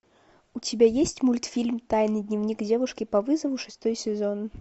у тебя есть мультфильм тайный дневник девушки по вызову шестой сезон